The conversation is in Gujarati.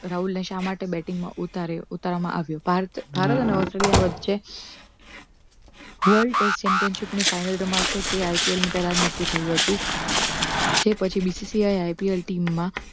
રાહુલને શા માટે batting માં ઉતાર્યો ઉતારવામાં આવ્યો ભારત અને ઓસ્ટ્રેલિયા વચ્ચે world test championship ની final રમાશે ત IPL ની પહેલા જ નક્કી થયું હતું જે પછી BCCL, IPL team માં